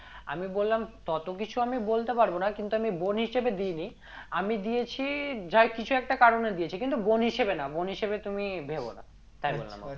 আমি বললাম তত কিছু আমি বলতে পারবো না কিন্তু আমি বোন হিসেবে দি নি আমি দিয়েছি যাই কিছু একটা কারণে দিয়েছি কিন্তু বোন হিসেবে না বোন হিসেবে তুমি ভেবো না তাই বললাম ওকে